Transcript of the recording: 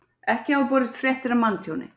Ekki hafa borist fréttir af manntjóni